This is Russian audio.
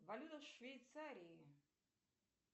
валюта в швейцарии